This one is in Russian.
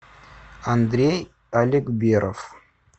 андрей алекберов